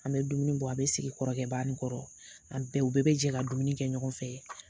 An bɛ dumuni bɔ a bɛ sigi kɔrɔkɛ ba ni kɔrɔ, an bɛɛ, u bɛɛ bɛ jɛ ka dumuni kɛ ɲɔgɔn fɛ.